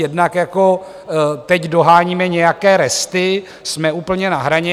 Jednak jako teď doháníme nějaké resty, jsme úplně na hraně.